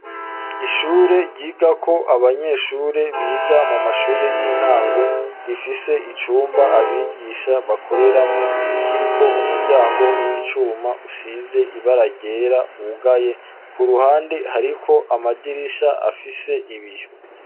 Ishure ryigako abanyeshure biga mu mashure y'intango rifise icumba abigisha bakoreramwo kiriko umuryango w'icuma usize ibara ryera wugaye ku ruhande hariko amadirisha afise ibiyo.